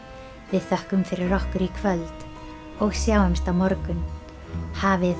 við þökkum fyrir okkur í kvöld og sjáumst á morgun hafið